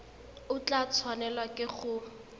o tla tshwanelwa ke go